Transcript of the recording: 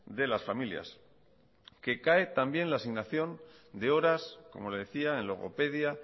de las familias que cae también la asignación de horas como le decía en logopedia